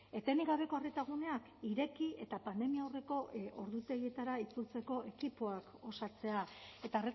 etenik gabeko arreta guneak ireki eta pandemia aurreko ordutegietara itzultzeko ekipoak osatzea eta